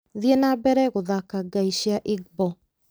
thiĩ na mbere gũthaka ngai cia igbo